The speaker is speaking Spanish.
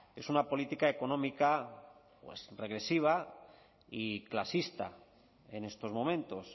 es una política económica pues regresiva y clasista en estos momentos